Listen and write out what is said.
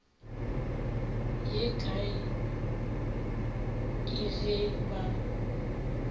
ye kae ke ge ba